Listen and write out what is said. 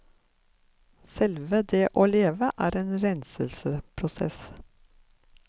Selve det å leve er en renselsesprosess.